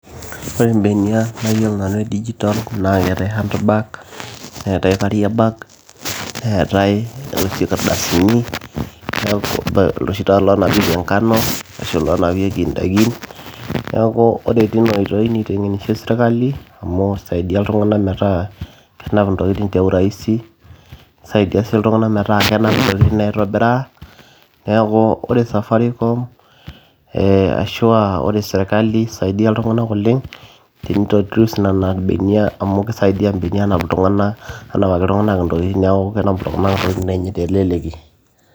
ore imbenia nayiolo nanu e digital naa keetae handbag neetae carrier bag neetae enoshi kardasini neeku iloshi taa loonapieki enkano ashu iloonapieki indaikin niaku ore teina oitoi niteng'enishe serikali amu isaidia iltung'anak metaa kenap intokitin te urahisi nisaidia sii iltung'anak metaa kenap intokitin aitobiraa neeku ore safaricom eh, ashua ore serikali isaidia iltung'anak oleng teni [ccs]introduce nena benia amu kisaidia imbenia anap iltung'anak, anapaki iltuing'anak intokitin niaku kenap iltung'anak intokitin enye teleleki.